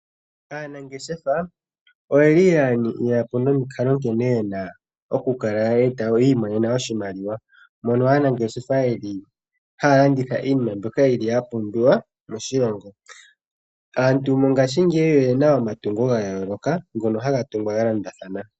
Aanangeshefa oye li ya eta po omikalo nkene yena oku kala yiimonena oshimaliwa, mono aanangeshefa taya landitha shoka shapumbiwa moshilongo. Aantu mongashingeyi oyena omatungo ga yooloka ngono haga tungwa galondathana.